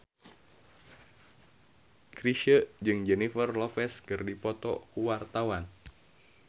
Chrisye jeung Jennifer Lopez keur dipoto ku wartawan